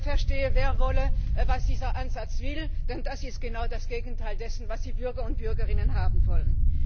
Verstehe, wer wolle, was dieser Ansatz will, denn das ist genau das Gegenteil dessen, was die Bürger und Bürgerinnen haben wollen.